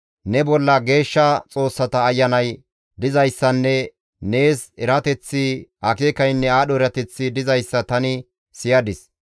Ne bolla geeshsha xoossata ayanay dizayssanne nees erateththi, akeekaynne aadho erateththi dizayssa tani siyadis.